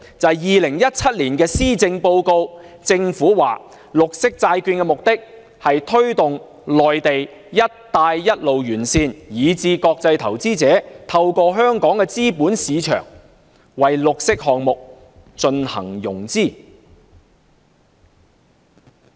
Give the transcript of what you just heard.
在2017年施政報告中，政府說發行綠色債券的目的是推動內地、"一帶一路"沿線以至國際投資者透過香港的資本市場為綠色項目進行融資。